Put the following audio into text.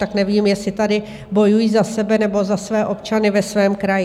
Tak nevím, jestli tady bojují za sebe, nebo za své občany ve svém kraji.